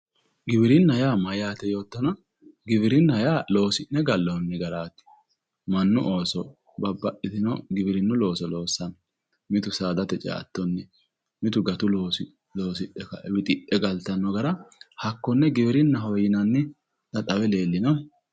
Giwirinna yaa mayate yoottonna giwirinna yaa loosi'ne gallonni garati mannu ooso babbaxxitino giwirinnu looso loossano mitu saadate ceattonni mitu gatu loosso loosidhe wixidhe galtanoha hakkone giwirinna